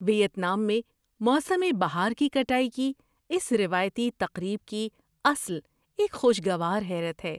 ‏Vietnam میں موسم بہار کی کٹائی کی اس روایتی تقریب کی اصل ایک خوشگوار حیرت ہے۔